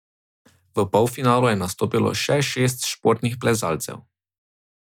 V polfinalu je nastopilo še šest športnih plezalcev.